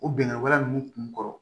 O bɛnkɛ waleya ninnu kun kɔrɔ